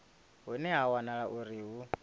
hune ha wanala uri hu